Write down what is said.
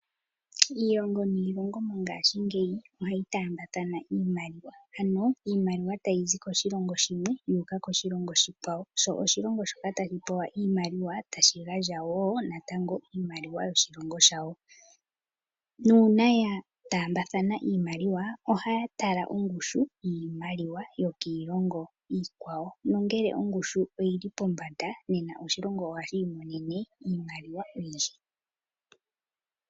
Iilongo niilongo mongaashingeyi ohayi taambathana iimaliwa, ano iimaliwa tayi zi koshilongo shimwe yuuka koshilongo oshikwawo, sho oshilongo shoka tashi zi iimaliwa sho tashi pewa woo iimaliwa yoshilongo shawo, nuuna ya taambathana iimaliwa ohaya tala ongushu yiimaliwa yokiilongo iikwawo, nongele ongushu oyili pombanda oshilongo ohashi i monene iimaliwa oyindji.